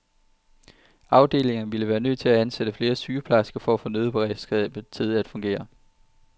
Afdelingerne ville være nødt til at ansætte flere sygeplejersker for at få nødberedskabet til at fungere.